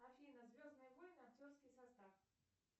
афина звездные войны актерский состав